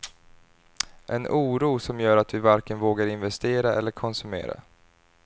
En oro som gör att vi varken vågar investera eller konsumera.